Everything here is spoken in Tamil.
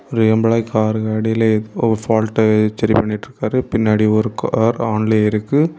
ஒரு எம்பிளாயி கார்ருக்கு அடில ஒரு பால்ட்அ ச்செரி பண்ணிட்ருக்காரு பின்னாடி ஒரு கார் ஆன்லையே இருக்கு.